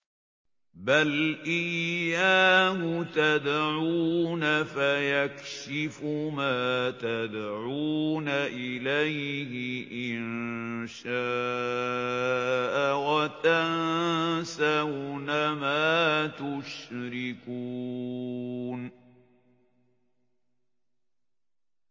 بَلْ إِيَّاهُ تَدْعُونَ فَيَكْشِفُ مَا تَدْعُونَ إِلَيْهِ إِن شَاءَ وَتَنسَوْنَ مَا تُشْرِكُونَ